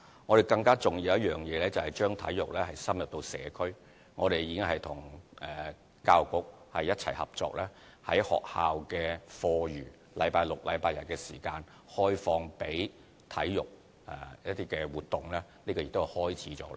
我們更重要的工作是將體育深入社區，我們已經和教育局一起合作，在學校的課餘星期六、日的時間，開放予體育活動，這已經開始了。